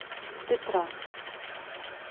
петра